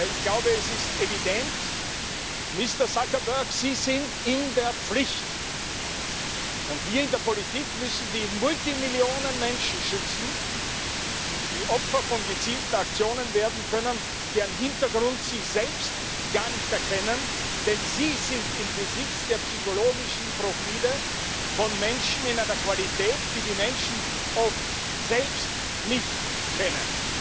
Ich glaube, es ist evident Mister Zuckerberg, Sie sind in der Pflicht, und wir in der Politik müssen die Abermillionen Menschen schützen, die Opfer von gezielten Aktionen werden können, deren Hintergrund sie selbst gar nicht erkennen, denn Sie sind im Besitz der psychologischen Profile von Menschen in einer Qualität, die die Menschen oft selbst nicht kennen.